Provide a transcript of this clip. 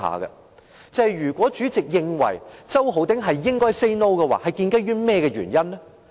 代理主席認為周浩鼎議員應該 "say no" 是建基於甚麼原因？